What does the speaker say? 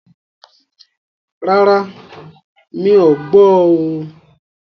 Rárá, mí ọ̀ gbọ́ oo.